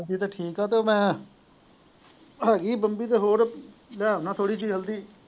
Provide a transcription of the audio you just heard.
ਠੀਕ ਹੈ ਤੇ ਮੈਂ ਹੈਗੀ ਬੰਦੀ ਤੇ ਹੋਰ ਲਿਆਣਾ ਥੋੜੀ ਜਿਹੀ ਹਲਦੀ।